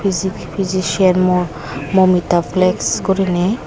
physi physician muo moumita flex guriney.